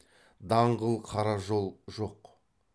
даңғыл қара жол жоқ